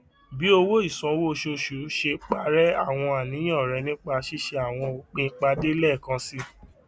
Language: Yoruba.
bi owo isanwo oṣooṣu ṣe parẹ awọn aniyan rẹ nipa ṣiṣe awọn opin pade lẹẹkansi